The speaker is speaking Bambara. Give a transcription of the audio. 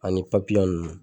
Ani ninnu.